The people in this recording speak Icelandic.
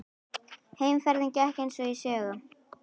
Heimferðin gekk eins og í sögu.